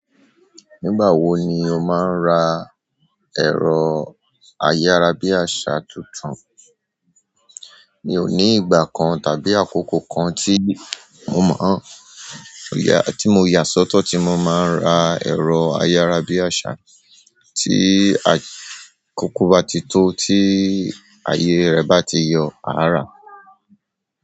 Nígbà wo ni o máa ń ra ẹ̀rọ ayárabíàṣá tuntun? Mi ò ní ìgbà kan tàbí àkókò kan tí mo mọ̀, tí mo yà sọ́tọ̀ tí mo máa ń ra ẹ̀rọ ayárabíàṣá. Tí àkókò bá ti tó, tí ayé rẹ̀ bá ti yọ, à rà.